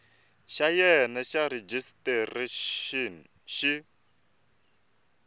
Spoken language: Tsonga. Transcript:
xa wena xa rejistrexini xi